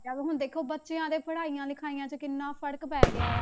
ਹੋ ਗਿਆ ਵਾ ਹੁਣ ਦੇਖੋ ਬੱਚਿਆਂ ਦੇ ਪੜ੍ਹਾਈਆਂ ਲਿਖਾਈਆਂ ਤੇ ਕਿੰਨਾ ਫ਼ਰਕ ਪੈ ਗਿਆ ਆ।